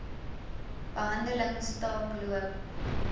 behandeling staak loop